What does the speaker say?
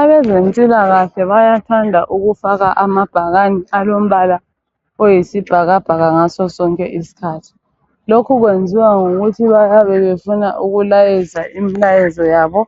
Abezempilakahle bayathanda ukufaka amabhakani alombala oyisibhakabhaka ngaso sonke isikhathi. Lokhu kwenziwa yikuthi bayabe befuna ukulayeza imilayezo yabo